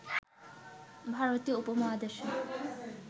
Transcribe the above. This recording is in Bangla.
ভারতীয় উপমহাদেশে